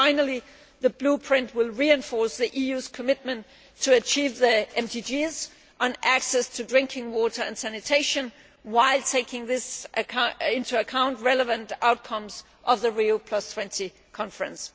Finally, the Blueprint will reinforce the EU's commitment to achieve the MDGs on access to drinking water and sanitation, while taking into account relevant outcomes of the Rio20 Conference.